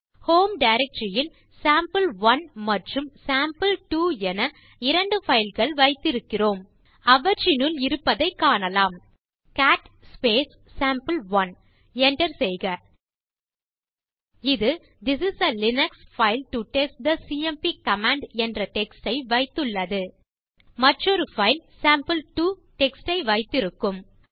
home directory ல் sample one மற்றும் sample two என இரண்டு பைல் கள் வைத்திருக்கிறோம் அவற்றினுள் இருப்பதைக் காணலாம் டைப் செய்க கேட் சாம்பே1 Enter செய்க இது this is a Linux file to test the CMP command என்ற டெக்ஸ்ட் ஐ வைத்துள்ளது மற்றொரு பைல் சேம்பிள்2 டெக்ஸ்ட் ஐ வைத்திருக்கும்